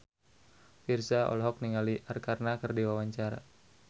Virzha olohok ningali Arkarna keur diwawancara